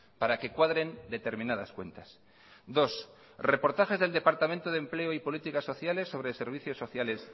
para que cuadren determinadas cuentas dos reportajes del departamento de empleo y políticas sociales sobre servicios sociales